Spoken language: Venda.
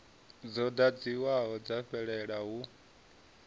dzo ḓadziwaho dza fhelela hu